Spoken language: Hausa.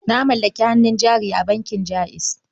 Na mallaki hannun jari a bankin Jaiz.